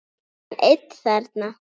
Yrði hann einn þarna?